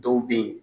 Dɔw be yen